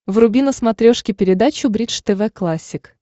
вруби на смотрешке передачу бридж тв классик